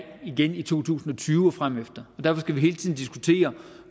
igen i to tusind og tyve og fremefter og derfor skal vi hele tiden diskutere